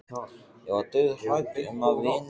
Ég var dauðhrædd um að vinur